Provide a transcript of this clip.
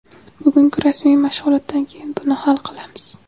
Bugungi rasmiy mashg‘ulotdan keyin buni hal qilamiz.